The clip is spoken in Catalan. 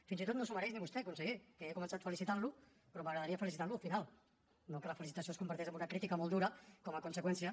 fins i tot no s’ho mereix ni vostè conseller que he començat felicitant lo però m’agradaria felicitar lo al final no que la felicitació es converteixi en una crítica molt dura com a conseqüència